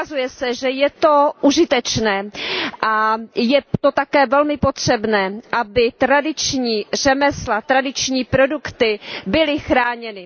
Ukazuje se, že je to užitečné a je to také velmi potřebné, aby tradiční řemesla, tradiční produkty byly chráněny.